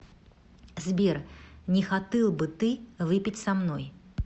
сбер не хоты л бы ты выпить со мной